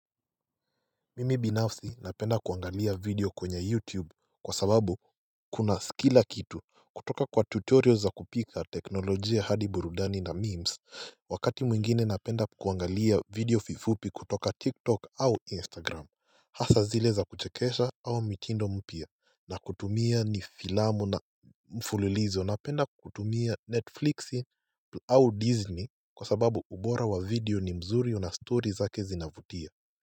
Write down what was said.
Mimi binafsi napenda kuangalia video kwenye YouTube kwa sababu kuna kila kitu. Kutoka kwa tutorial za kupika teknolojia hadi burudani na memes Wakati mwingine napenda kuangalia video fupi fupi kutoka TikTok au Instagram. Hasa zile za kuchekesha au mitindo mpya na kutumia ni filamu na mfulilizo napenda kutumia Netflixi au Disney kwa sababu ubora wa video ni mzuri na story zake zinavutia.